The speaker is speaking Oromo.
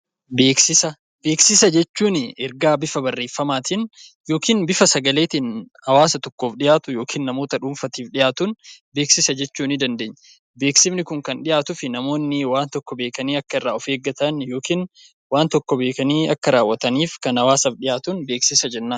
Beeksisa jechuun ergaa bifa barreeffamaatiin yookiin but fa safaleetiin hawaasa tokkoof dhiyaatu yookiin namoota dhuunfaa dhiyaatuudh